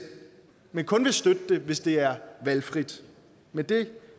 men kun vil støtte det hvis det er valgfrit men det